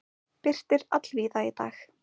Birtir allvíða í dag